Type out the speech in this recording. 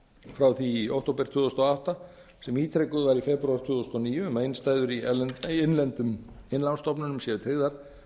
frá því í október tvö þúsund og átta sem ítrekuð var í febrúar tvö þúsund og níu um að innstæður í innlendum innlánsstofnunum séu tryggðar